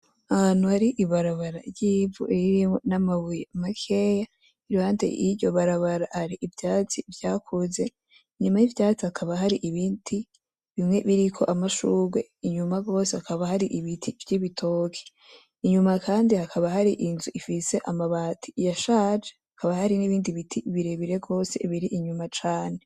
Ahantu hari ibarabara ry’ivu ririmwo n’amabuye makeyi , iruhande y’iryo barabara hari ivyatsi vyakuze . Inyuma y’ivyatsi hakaba hari ibiti , bimwe biriko amashurwe, inyuma gose hakaba hari ibiti vy’ibitoke. Inyuma kandi hakaba hari inzu ifise amabati yashaje , hakaba hari n’ibindi biti birebire gose biri inyuma cane.